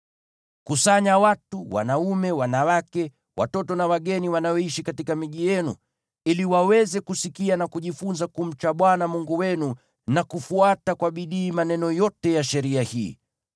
Kusanya watu wote, wanaume, wanawake, watoto na wageni wanaoishi katika miji yenu, ili waweze kusikia na kujifunza kumcha Bwana Mungu wenu na kufuata kwa bidii maneno yote ya sheria hii.